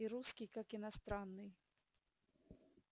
и русский как иностранный